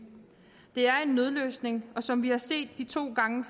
det er en nødløsning og som vi har set de to gange